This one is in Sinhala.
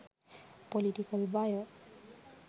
political wire